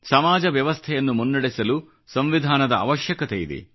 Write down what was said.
ಸಮಾಜ ವ್ಯವಸ್ಥೆಯನ್ನು ಮುನ್ನಡೆಸಲು ಸಂವಿಧಾನದ ಅವಶ್ಯಕತೆಯಿದೆ